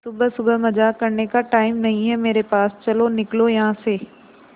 सुबह सुबह मजाक करने का टाइम नहीं है मेरे पास चलो निकलो यहां से